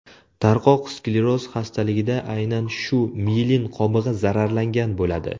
Tarqoq skleroz xastaligida aynan shu miyelin qobig‘i zararlangan bo‘ladi.